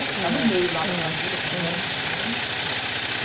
Ele está no meio lá da família, que é um monte de gente.